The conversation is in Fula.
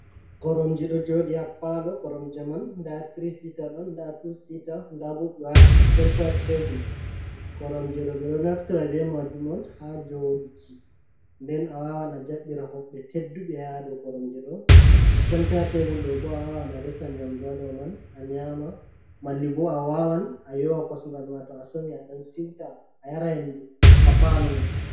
Koromje do jodi ha palo, koromje man da tri sita don da tu sita dabo be wati centar table koromje do be do naftira be majum on ha jodiki, nden a wawan a jabbira hobbe teddube hado koromje do centa table do bo a wawan a resan nyamdu hado man a nyama malli bo a wawan a yowa kosngal ma to a somi a dan siuta a yara hendu happalo ma.